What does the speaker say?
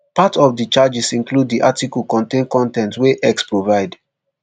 part of di charges include dis article contain con ten t wey x provide